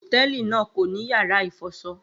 Hotẹẹli naa ko ni yara ifọṣọ